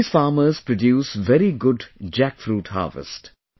These farmers produce very good jackfruit harvest